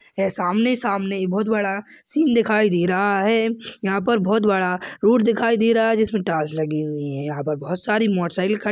यह सामने-सामने एक बहोत बड़ा सीन दिखाई दे रहा है यहाँ पर बहोत बड़ा रोड दिखाई दे रहा है जिसमे टाइल्स लगी हुई है यहाँ पर बहोत सारी मोटर साइकिल खड़ी---